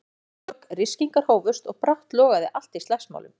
Lækjartorg, ryskingar hófust og brátt logaði allt í slagsmálum.